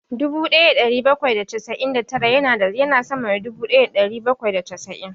Dubu ɗaya da ɗari bakwai da casa'in da tara ya na sama da dubu ɗaya da ɗari bakwai da casa'in